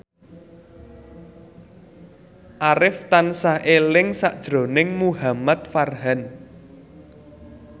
Arif tansah eling sakjroning Muhamad Farhan